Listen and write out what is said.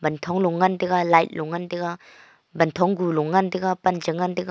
thonglong ngan taga light lon ngantaga wanthong gulong ngantaga pan chengan taga.